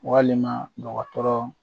Walima ɲɔgɔn dɔgɔtɔrɔ